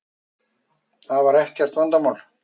Það var ekkert vandamál.